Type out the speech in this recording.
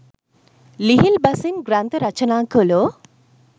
ලිහිල් බසින් ග්‍රන්ථ රචනා කළෝ